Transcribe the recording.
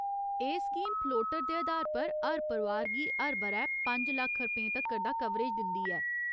एह् scheme floater दे अधार पर हर परोआर गी हर ब'रै पंज लक्ख रपेंऽ तक्कर दा कवरेज दिंदी ऐ।